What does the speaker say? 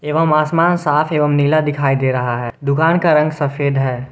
एवं आसमान साफ एवं नीला दिखाई दे रहा है दुकान का रंग सफेद है।